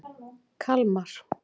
Kalmar